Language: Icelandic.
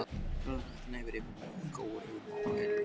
Garðar gnæfir yfir mig og gjóar augum á æluna.